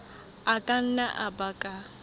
a ka nna a baka